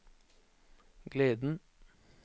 gleden